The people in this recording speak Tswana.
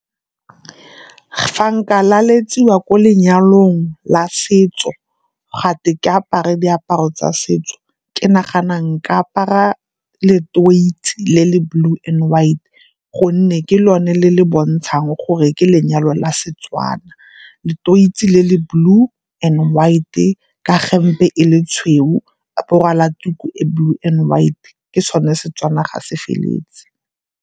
Fa nka laletsiwa ko lenyalong la setso, gate ke apare diaparo tsa setso, ke nagana nka apara le le blue and white gonne ke lone le le bontshang gore ke lenyalo la Setswana. le le blue and white-e ka hemp-e e le tshweu, a bo o rwala tuku e blue and white ke sone Setswana ga se feleletse.